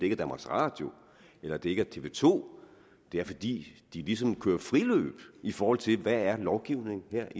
er danmarks radio eller at det ikke er tv2 det er fordi de ligesom kører friløb i forhold til hvad lovgivningen er